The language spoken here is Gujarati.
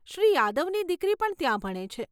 શ્રી યાદવની દીકરી પણ ત્યાં ભણે છે.